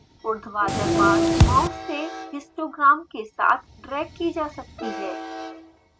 उर्ध्वाधर bars mouse से histogram के साथ ड्रैग की जा सकती हैं